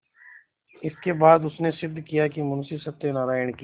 इसके बाद उसने सिद्ध किया कि मुंशी सत्यनारायण की